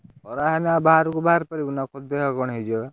ଖରା ହେଲେ ଆଉ ବାହାରକୁ ବାହାରି ପାରିବୁ ନା କଣ ଦେହ କଣ ହେଇଯିବ ବା।